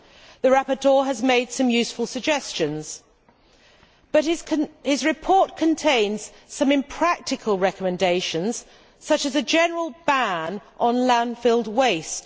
The rapporteur has made some useful suggestions, but his report contains some impractical recommendations such as the general ban on landfill waste.